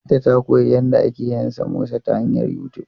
Binta ta koyi yadda ake yin samosa ta hanyar YouTube.